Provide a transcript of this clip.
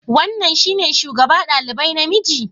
Wannan shine shugaba ɗalibai namiji?